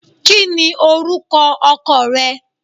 Kini oruko oko re?